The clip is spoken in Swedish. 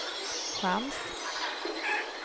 chans